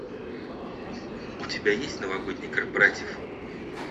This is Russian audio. у тебя есть новогодний корпоратив